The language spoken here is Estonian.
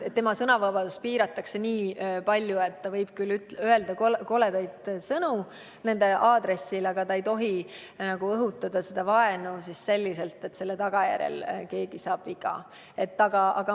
Tema sõnavabadust piiratakse nii palju, et ta võib küll öelda koledaid sõnu kellegi suunas, aga ta ei tohi õhutada vaenu nii, et selle tagajärjel saab keegi viga.